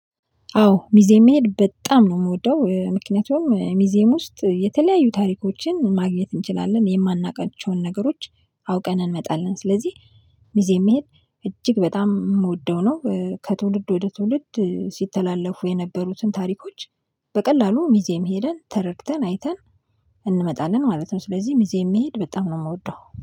አዎ ሙዜም መሄድ በጣም ነው የምወደው ምክንያቱም ሙዜም ውስጥ የተለያዩ ታሪኮችን ማግኘት እንችላለን የማናውቃቸውን ነገሮች አውቀን እንመጣለን ስለዚህ። ሙዜም መሄድ እጅግ በጣም የምወደው ነው ከትውልድ ወደ ትውልድ ሲተላለፉ የነበሩትን ታሪኮች። በቀላሉ ሙዜም ሄደን ተረድተን አይተን እንመጣለን ማለት ነው። ስለዚህ ሙዜም መሄድ በጣም ነው የምወደው